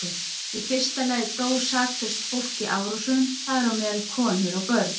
Í fyrsta lagi dó saklaust fólk í árásunum, þar á meðal konur og börn.